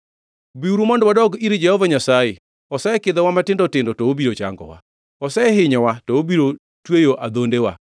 “Biuru mondo wadog ir Jehova Nyasaye. Osekidhowa matindo tindo to obiro changowa; osehinyowa to obiro tweyo adhondewa.